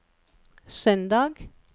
søndag